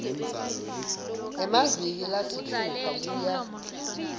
emaviki lasitfupha kuya